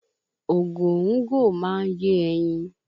Ògòńgò máa ń yé ẹyin